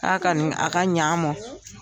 a a ka ni a ka ɲ'an mɔn